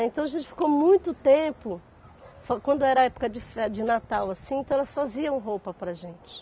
Então a gente ficou muito tempo, foi quando era época de fe de Natal assim, então elas faziam roupa para a gente.